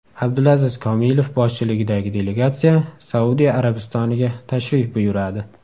Abdulaziz Kamilov boshchiligidagi delegatsiya Saudiya Arabistoniga tashrif buyuradi.